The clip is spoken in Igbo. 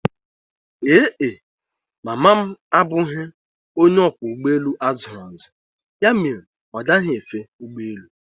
Ee e, mama m abụghị onye ọkwọ ụgbọelu a zụrụ azụ ya mere ọ gaghi efe ụgbọelu